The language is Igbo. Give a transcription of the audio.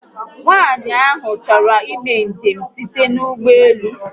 Nwaànyị ahụ chọrọ imé njem site n'ụgbọelu